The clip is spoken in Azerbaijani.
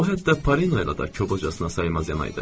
O, hətta Parina ilə də kobudcasına saymazyana idi.